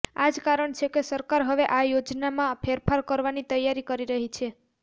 આ જ કારણ છે કે સરકાર હવે આ યોજનામાં ફેરફાર કરવાની તૈયારી કરી રહી છે